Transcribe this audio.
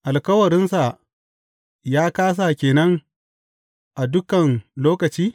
Alkawarinsa ya kāsa ke nan a dukan lokaci?